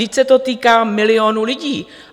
Vždyť se to týká milionů lidí.